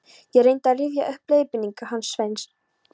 Ég reyndi að rifja upp leiðbeiningarnar hans Sveins